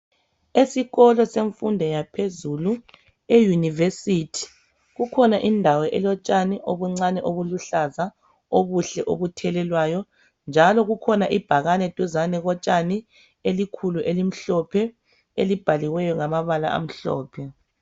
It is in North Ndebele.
Esikolo semfundo yaphezulu e University kukhona indawo elotshani obuncane obuluhlaza obuhle obuthelelwayo njalo kukhona ibhakane duzane kotshani elikhulu elimhlophe elibhaliweyo ngamabala amhlophe.